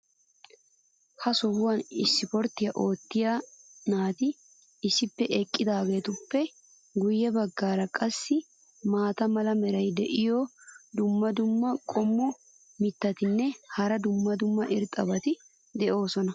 ha sohuwan ispporttiya oottiya naati issippe eqqidaageetuppe guye bagaara qassi maata mala meray diyo dumma dumma qommo mittatinne hara dumma dumma irxxabati de'oosona.